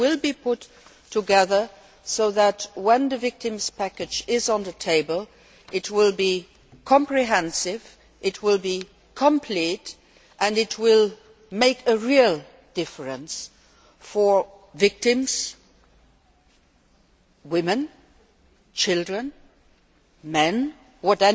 It will be put together so that when the victims package is on the table, it will be comprehensive, it will be complete, and it will make a real difference to all victims be they women, children or men, although